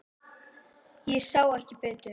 Ég sá ekki betur.